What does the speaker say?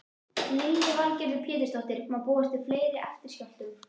Lillý Valgerður Pétursdóttir: Má búast við fleiri eftirskjálftum?